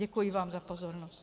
Děkuji vám za pozornost.